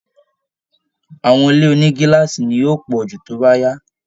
Àwọn ilé oni gíláàsì ni yóò pọ̀ jù tó bá yá